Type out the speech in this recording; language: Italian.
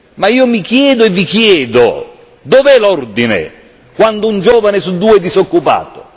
Ma io mi chiedo e vi chiedo dov'è l'ordine quando un giovane su due è disoccupato?